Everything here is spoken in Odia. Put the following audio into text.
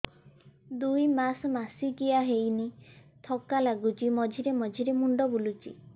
ଦୁଇ ମାସ ମାସିକିଆ ହେଇନି ଥକା ଲାଗୁଚି ମଝିରେ ମଝିରେ ମୁଣ୍ଡ ବୁଲୁଛି